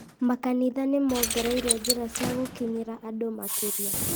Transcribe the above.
makanitha nĩmongereire njĩra cia gũkinyĩra andũ makĩria